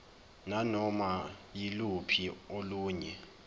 nanoma yiluphi olunye